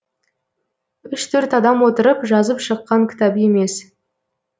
үш төрт адам отырып жазып шыққан кітап емес